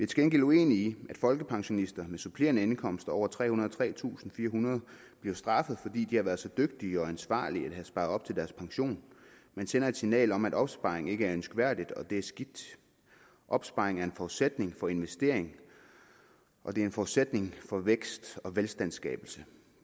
til gengæld uenige i at folkepensionister med supplerende indkomster over trehundrede og tretusindfirehundrede kroner straffes fordi de har været så dygtige og ansvarlige at have sparet op til deres pension man sender et signal om at opsparing ikke er ønskværdigt og det er skidt opsparing er en forudsætning for investering og det er en forudsætning for vækst og velstandsskabelse